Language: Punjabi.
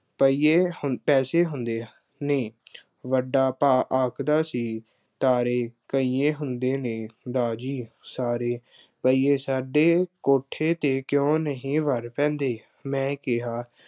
ਰੁਪਈਏ ਹੁਣ ਪੈਸੇ ਹੁੰਦੇ ਆ, ਨਹੀਂ, ਵੱਡਾ ਭਾਅ ਆਖਦਾ ਸੀ, ਤਾਰੇ ਰੁਪਈਏ ਹੁੰਦੇ ਨੇ, ਦਾਰ ਜੀ, ਸਾਰੇ ਰੁਪਈਏ ਸਾਡੇ ਕੋਠੇ ਤੇ ਕਿਉਂ ਨਹੀਂ ਵਰ ਪੈਂਦੇ। ਮੈਂ ਕਿਹਾ